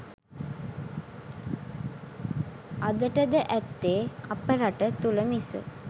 අදට ද ඇත්තේ අප රට තුළ මිස